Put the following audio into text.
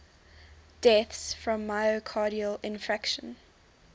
deaths from myocardial infarction